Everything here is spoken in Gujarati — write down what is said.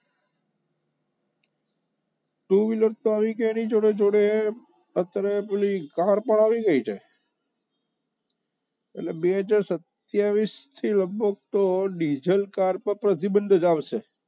Two wheeler આવી ગયા એની જોડે જોડે અત્યારે પેલી car પણ આવી ગઈ છે એટલે બે હજાર સત્યાવીસ થી તો લગભગ ડીઝલ car ઉપર પ્રતિબંધ જ આવશે